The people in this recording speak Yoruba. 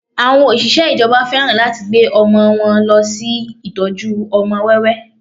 Àwọn Òṣìṣẹ́ ìjọba fẹ́ràn láti gbé ọmọ wọn lọ sí ìtọ́jú ọmọ wẹ́wẹ́